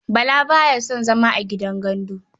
Bala ba ya son zama a gidan gandu.